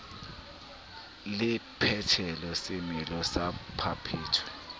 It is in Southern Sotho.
le phethelo semelo sa baphetwa